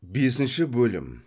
бесінші бөлім